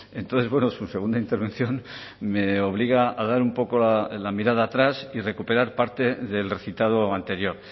entonces bueno su segunda intervención me obliga a dar un poco la mirada atrás y recuperar parte del recitado anterior